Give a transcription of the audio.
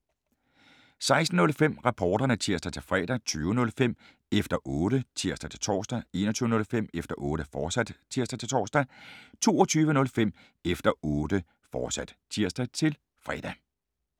16:05: Reporterne (tir-fre) 20:05: Efter Otte (tir-tor) 21:05: Efter Otte, fortsat (tir-tor) 22:05: Efter Otte, fortsat (tir-fre)